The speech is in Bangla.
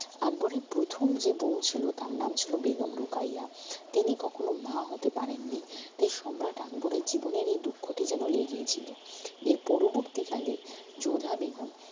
আকবরের প্রথম যে বউ ছিল তার নাম ছিল বেগম রোকাইয়া তিনি কখনও মা হতে পারেন নি তাই সম্রাট আকবরের জীবনের এই দুঃখটি যেন লেগেই ছিল এর পরবর্তি কালে যোধা বেগম